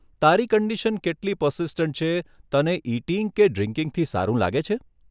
તારી કન્ડિશન કેટલી પરસિસ્ટંટ છે, તને ઇટિંગ કે ડ્રિંકીંગ થી સારું લાગે છે?